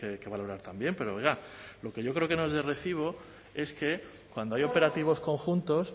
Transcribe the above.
que valorar también pero oiga lo que yo creo que no es de recibo es que cuando hay operativos conjuntos